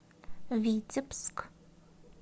витебск